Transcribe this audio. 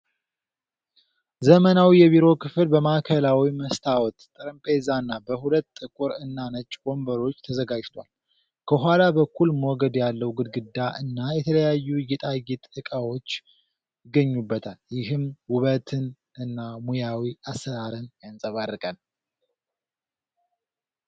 ዘመናዊ የቢሮ ክፍል በማዕከላዊ መስታወት ጠረጴዛና በሁለት ጥቁር እና ነጭ ወንበሮች ተዘጋጅቷል። ከኋላ በኩል ሞገድ ያለው ግድግዳ እና የተለያዩ የጌጣጌጥ ዕቃዎች ይገኙበታል፤ ይህም ውበትን እና ሙያዊ አሠራርን ያንጸባርቃል።